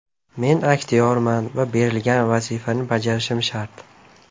Men aktyorman va berilgan vazifani bajarishim shart.